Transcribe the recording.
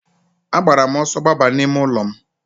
A gbara m ọsọ gbaba n'ime ụlọ m.